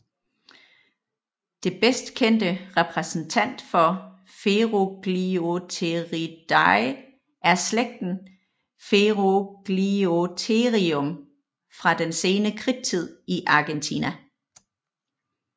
Det bedstkendte repræsentant for Ferugliotheriidae er slægten Ferugliotherium fra den sene kridttid i Argentina